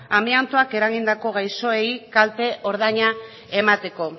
amiantoak eragindako gaixoei kalte ordaina emateko